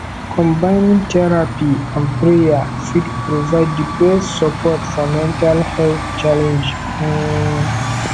combining therapy and prayer fit provide di best support for mental health challenges um